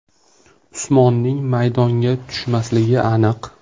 Usmonning maydonga tushmasligi aniq.